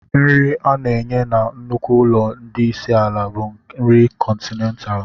Nri a na-enye na nnukwu ụlọ ndị isi ala bụ nri kọntinentaalụ.